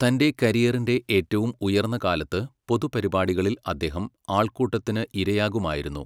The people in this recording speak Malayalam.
തൻ്റെ കരിയറിൻ്റെ ഏറ്റവും ഉയർന്ന കാലത്ത്, പൊതുപരിപാടികളിൽ അദ്ദേഹം ആൾക്കൂട്ടത്തിന് ഇരയാകുമായിരുന്നു.